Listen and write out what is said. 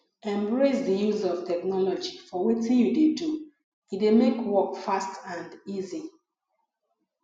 embrace di use of technology for wetin you dey do e dey make work fast and easy